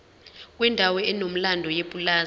kwendawo enomlando yepulazi